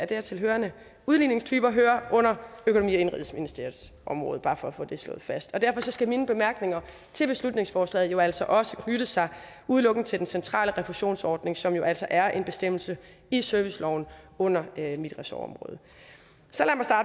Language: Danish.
dertil hørende udligningstyper hører under økonomi og indenrigsministeriets område bare for at få det slået fast og derfor skal mine bemærkninger til beslutningsforslaget jo altså også knytte sig udelukkende til den centrale refusionsordning som altså er en bestemmelse i serviceloven under mit ressortområde så